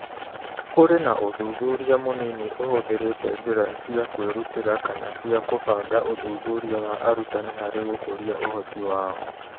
Kũrĩ na ũthuthuria mũnini ũhũthĩrĩte njĩra cia kwĩrutĩra kana cia kũbanga ũthuthuria wa arutani harĩ gũkũria ũhoti wao.